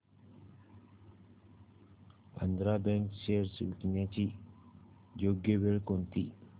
Andhra bank shares विकण्याची योग्य वेळ कोणती